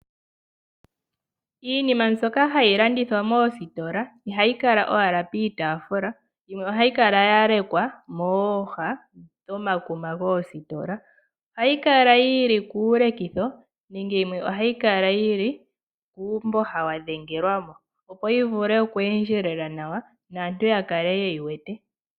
Iinima mbyoka hayi landithwa moositola ihayi kala owala piitaafula, yimwe ohayi kala yalekwa mooha dhomakuma goositola. Ohayi kala yili kuulekitho nenge yimwe ohayi kala yili kuumboha wadhengelwa mo, opo yi vule okweendjelela nawa opo aantu ya kale ye yi wete.